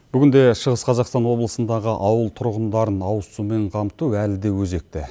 бүгінде шығыс қазақстан облысындағы ауыл тұрғындарын ауызсумен қамту әлі де өзекті